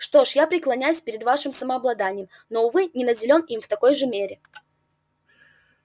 что ж я преклоняюсь перед вашим самообладанием но увы не наделен им в такой же мере